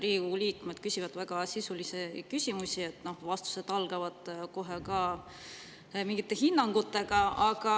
Riigikogu liikmed küsivad väga sisulisi küsimusi, vastused algavad kohe mingite hinnangutega.